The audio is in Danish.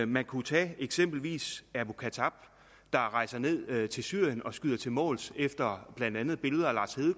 man kunne tage eksempelvis abu khattab der rejser ned til syrien og skyder til måls efter blandt andet billeder af lars